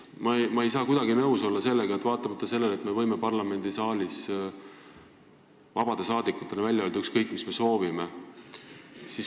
Ma ei saa sellega kuidagi nõus olla, vaatamata sellele, et me võime parlamendisaalis vabade rahvasaadikutena välja öelda ükskõik, mida me soovime.